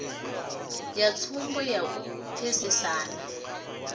na tsumbo ya u pfesesa